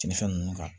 Cɛnnifɛn ninnu kan